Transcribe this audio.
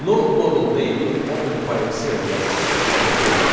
No module named Open PyExcel yazısı ekranda görünəcək.